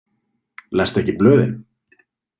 Lestu ekki blöðin?